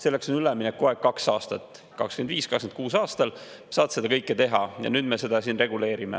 Selleks on üleminekuaeg kaks aastat, 2025.–2026. aastal saab seda kõike teha ja nüüd me seda siin reguleerime.